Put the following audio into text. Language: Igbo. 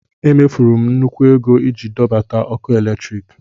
E mefuru m nnukwu ego iji dọbata ọkụ eletrik.